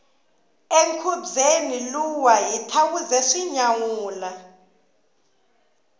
enkhubyeni luwa hi thawuze swi nyawula